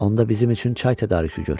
Onda bizim üçün çay tədarükü gör.